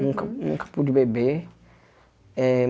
Nunca nunca pude beber. Eh